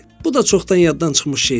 Bu da çoxdan yaddan çıxmış şeydir.